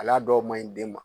Hali dɔw maɲi den ma